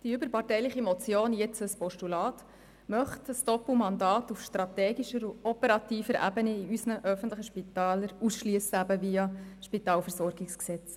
Die überparteiliche Motion, die jetzt ein Postulat ist, möchte ein Doppelmandat auf strategischer und operativer Ebene in unseren öffentlichen Spitälern via SpVG-Änderung ausschliessen.